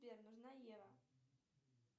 сбер нужна ева